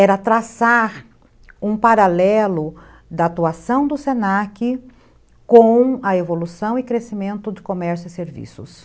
Era traçar um paralelo da atuação do se na que com a evolução e crescimento de comércio e serviços.